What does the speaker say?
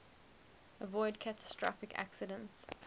avoid catastrophic accidents